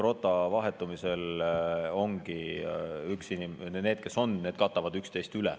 Rota vahetumisel ongi nii, et need, kes on, katavad üksteist.